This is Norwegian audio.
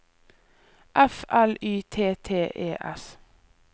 F L Y T T E S